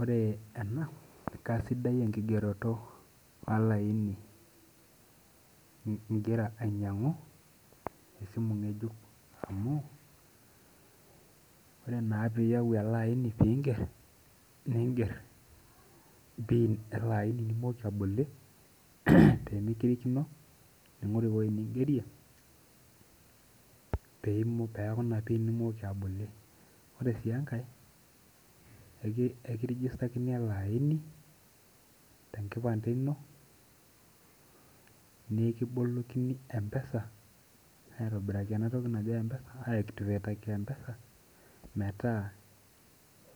Ore ena kasidai enkigeroto olaini ingira ainyangu esimu ngejuk amu ore piyau elaini ninger pin olaini nimoki abolie tenikirikino ningori ewoi ningerie nimoki abolie ore si enkae eki registerkini ele aini tenkipande ino nikibolokini empesa metaa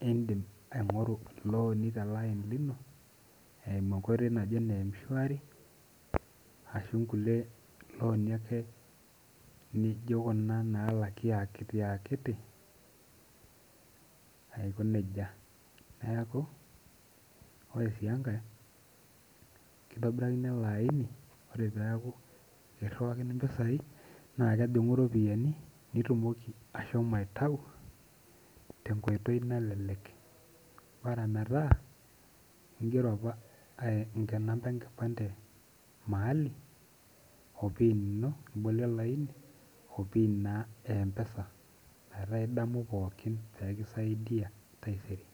indim aingoru loni teleani lino eimu enkoitoi naji ene emshwari ashu nkuti loani nalaki akiti akiti aiko nejia neaku ore su enkae kintobirakini elaini ore peaku ekiriwakini mpisai na kejingu ropiyani nitumoki ashomo aitau tenkoitoi nalelek bora meeta ingero apa namba enkipand e opin olaini opin empesa metaa idamu pooki pekisaidia taisere.